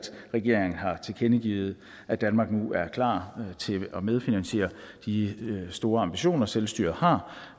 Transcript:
regeringen har tilkendegivet at danmark nu er klar til at medfinansiere de store ambitioner selvstyret har